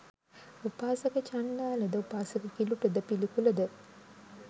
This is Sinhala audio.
උපාසක චණ්ඩාලද උපාසක කිලුටද පිළිකුලද